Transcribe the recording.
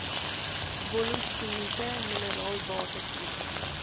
wollostonite mineraalwater projek